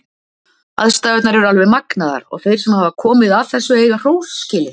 Aðstæðurnar eru alveg magnaðar og þeir sem hafa komið að þessu eiga hrós skilið.